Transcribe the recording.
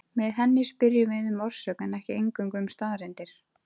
Með henni spyrjum við um orsök en ekki eingöngu um staðreyndir.